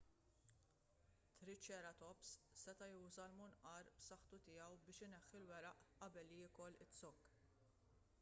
triċeratops seta' juża l-munqar b'saħħtu tiegħu biex ineħħi l-weraq qabel jiekol iz-zokk